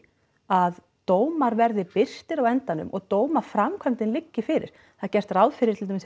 að dómar verði birtir á endanum og dómaframkvæmdin liggi fyrir það er gert ráð fyrir til dæmis